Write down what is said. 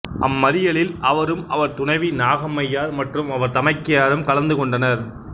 அம்மறியலில் அவரும் அவர் துணைவி நாகம்மையார் மற்றும் அவர் தமக்கையாரும் கலந்து கொண்டனர்